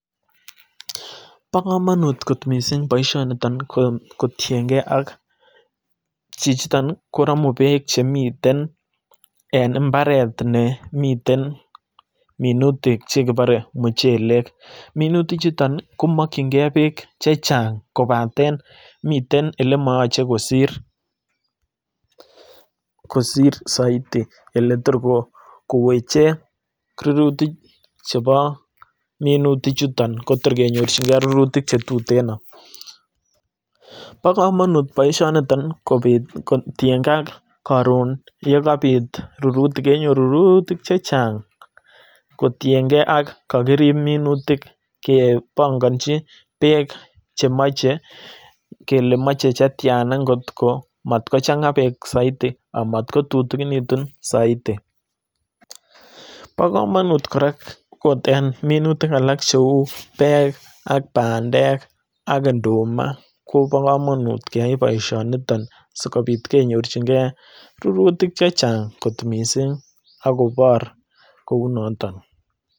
Bo komonut kot missing boisho niton kotienge ak chichiton ko romuu beek chemiten en imbaret nemiten minutik chekibore muchelek. Minutik chuton komokinygee beek chechang kobaten miten ele moyoche kosir kosir soiti ele tor koweche rurutik chebo minutik chuton kotor kenyorchigee che tuteno, bo komonut boisho niton kobit kotiengee ak koron yekabit rurutik kenyoru rurutik chechang kotiengee ak kokirib minutik kebongonchi beek chemoche kele moche chetyana ngotko matkochanga beek soit amatkotutukinitun soiti. Bo komonut kora ot en minutik alak cheu beek ak bandek ak nduma kobokomonut keyai boisioniton sikobit kenyorchigee rurutik chechang kot missing akobor kounoton